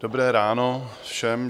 Dobré ráno všem.